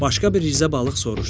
Başqa bir rizə balıq soruşdu: